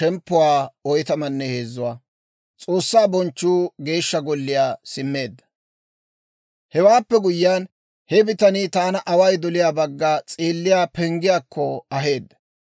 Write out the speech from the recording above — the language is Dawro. Hewaappe guyyiyaan, he bitanii taana away doliyaa bagga s'eelliyaa penggiyaakko aheedda.